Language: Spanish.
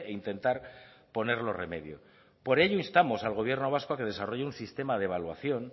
intentar ponerlo remedio por ello instamos al gobierno vasco a que desarrolle un sistema de evaluación